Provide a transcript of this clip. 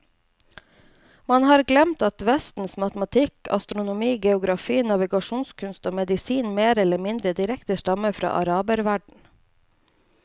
Man har glemt at vestens matematikk, astronomi, geografi, navigasjonskunst og medisin mer eller mindre direkte stammer fra araberverdenen.